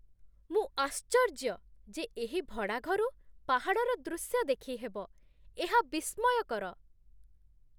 ମୁଁ ଆଶ୍ଚର୍ଯ୍ୟ ଯେ ଏହି ଭଡ଼ା ଘରୁ ପାହାଡ଼ର ଦୃଶ୍ୟ ଦେଖିହେବ । ଏହା ବିସ୍ମୟକର!